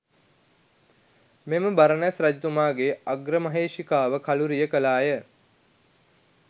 මෙම බරණැස් රජතුමාගේ අග්‍ර මහේෂිකාව කළුරිය කළාය.